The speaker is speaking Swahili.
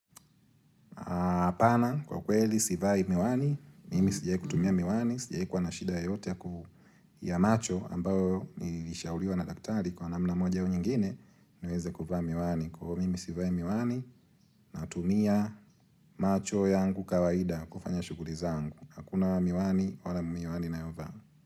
Apana kwa kweli sivai miwani, mimi sijai kutumia miwani, sijai kuwa na shida yoyote ya macho ambayo nilishauriwa na daktari kwa namna moja au nyingine niweze kuvaa miwani. Kwa iyo mimi sivai miwani, natumia macho yangu kawaida kufanya shughuli zangu. Hakuna wa miwani, wala miwani nayovaa.